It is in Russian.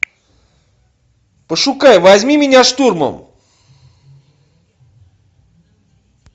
пошукай возьми меня штурмом